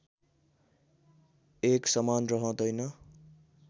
एक समान रहँदैन्